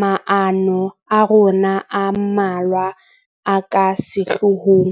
maano a rona a mmalwa a ka sehloohong.